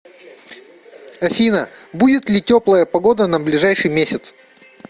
афина будет ли теплая погода на ближайший месяц